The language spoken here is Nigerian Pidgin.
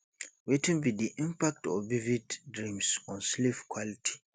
wetin be di impact of vivid dreams on sleep quality